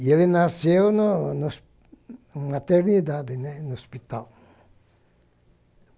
E ele nasceu no no na maternidade, no hospital.